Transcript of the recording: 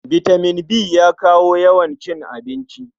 Bitaman B yana kawo yawan cin abinci.